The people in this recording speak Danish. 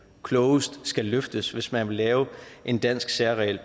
klogest skal løftes hvis man vil lave en dansk særregel